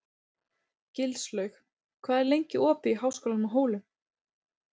Gilslaug, hvað er lengi opið í Háskólanum á Hólum?